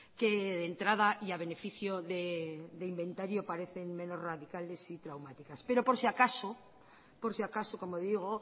que de entrada y a beneficio de inventario parecen menos radicales y traumáticas pero por si acaso por si acaso como digo